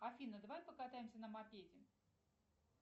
афина давай покатаемся на мопеде